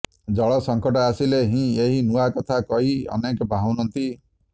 ଜଳସଙ୍କଟ ଆସିଲେ ହିଁ ଏହି କୂଅ କଥା କହି ଅନେକ ବାହୁନନ୍ତି